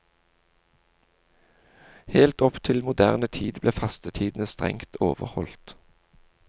Helt opp til moderne tid ble fastetidene strengt overholdt.